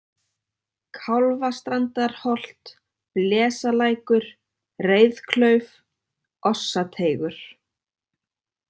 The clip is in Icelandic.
Kálfastrandarholt, Blesalækur, Reiðklauf, Ossateigur